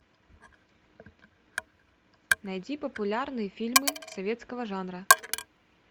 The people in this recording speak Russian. найди популярные фильмы советского жанра